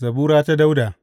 Zabura ta Dawuda.